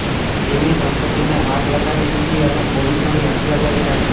તેમની સંપત્તિને આગ લગાડી દીધી અને પોલીસોની હત્યા કરી નાખી